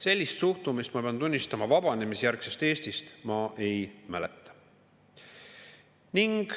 Sellist suhtumist, ma pean tunnistama, vabanemisjärgsest Eestist ma ei mäleta.